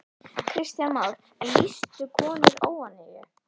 Kristján Már: En lýstu konur óánægju?